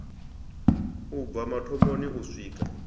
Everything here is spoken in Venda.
u bva mathomoni u swika